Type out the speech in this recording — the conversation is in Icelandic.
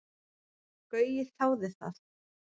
Gaui þáði það.